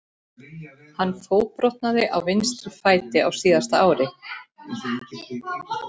Hann fótbrotnaði á vinstri fæti á síðasta ári.